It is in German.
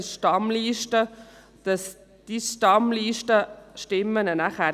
Organisatorisch kann die Stammliste festgelegt werden.